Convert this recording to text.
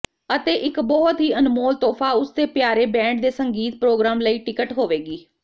ਅਤੇ ਇੱਕ ਬਹੁਤ ਹੀ ਅਨਮੋਲ ਤੋਹਫ਼ਾ ਉਸਦੇ ਪਿਆਰੇ ਬੈਂਡ ਦੇ ਸੰਗੀਤ ਪ੍ਰੋਗਰਾਮ ਲਈ ਟਿਕਟ ਹੋਵੇਗੀ